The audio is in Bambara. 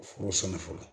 Furu sɛnɛ fɔlɔ